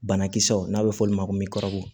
Banakisɛw n'a bɛ f'olu ma ko